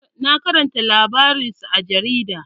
Na karanta labarinsa a jarida.